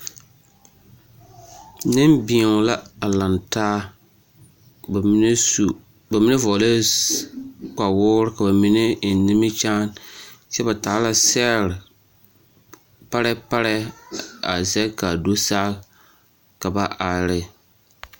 Nembēo la a lantaa ka bamine su, bamine vɔgelɛɛ kpawoore ka bamine eŋ nimikyaane kyɛ ba taa la sɛgere parɛɛ parɛɛ a zɛge k'a do saa ka ba are ne.